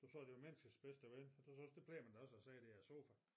Du sagde det var menneskets bedste ven det synes det bliver man da også af at sidde i de her sofa